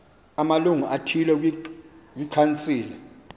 amalungu athile kwikhansile